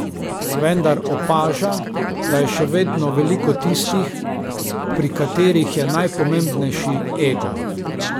Vendar opaža, da je še vedno veliko tistih, pri katerih je najpomembnejši ego.